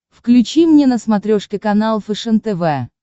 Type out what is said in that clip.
включи мне на смотрешке канал фэшен тв